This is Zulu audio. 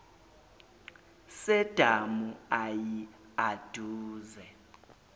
sedamu ayi aduze